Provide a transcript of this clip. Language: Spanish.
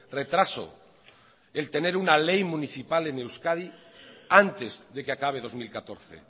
retraso el tener una ley municipal en euskadi antes de que acabe dos mil catorce